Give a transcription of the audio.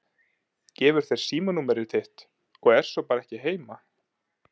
Gefur þér símanúmerið þitt og er svo bara ekki heima.